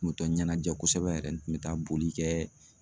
N kun bɛ taa ɲɛnajɛ kosɛbɛ yɛrɛ n kun bɛ taa boli kɛ